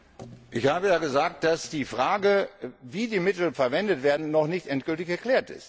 Ich habe ja gesagt, dass die Frage, wie die Mittel verwendet werden, noch nicht endgültig geklärt ist.